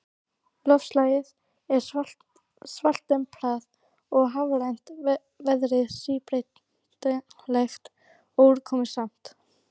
Loftslagið er svaltemprað og hafrænt, veðrið síbreytilegt og úrkomusamt.